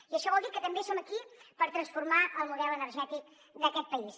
i això vol dir que també som aquí per transformar el model energètic d’aquest país